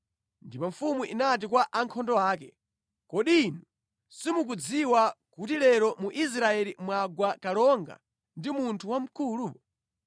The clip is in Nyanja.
Ndipo mfumu inati kwa ankhondo ake, “Kodi inu simukudziwa kuti lero mu Israeli mwagwa kalonga ndi munthu wamkulu?